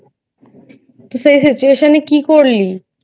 তো সেই Situation এ কি করলি?